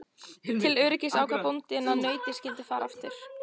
Til öryggis ákvað bóndinn að nautið skyldi fara aftur.